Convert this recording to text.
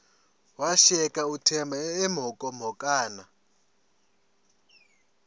washiyeka uthemba emhokamhokana